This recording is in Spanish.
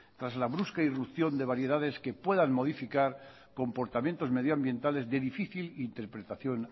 tras la brusca irrupción de variedades que puedan modificar comportamientos medioambientales de difícil interpretación